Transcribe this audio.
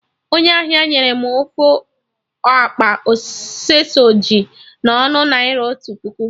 Onye ahịa nyere m ofu akpa sọseji na ọnụ naira otu puku